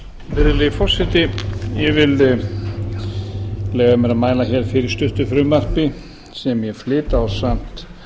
virðulegi forseti ég vil leyfa mér að mæla hér fyrir stuttu frumvarpi sem ég flyt ásamt